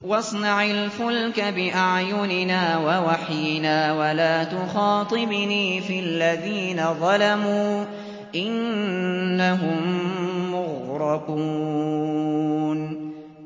وَاصْنَعِ الْفُلْكَ بِأَعْيُنِنَا وَوَحْيِنَا وَلَا تُخَاطِبْنِي فِي الَّذِينَ ظَلَمُوا ۚ إِنَّهُم مُّغْرَقُونَ